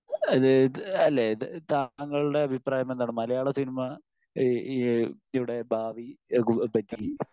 അതായത് അല്ലെ താങ്കളുടെ അഭിപ്രായം എന്താണ്? മലയാള സിനിമ ഈ ഈ ഇവിടെ ഭാവി പറ്റി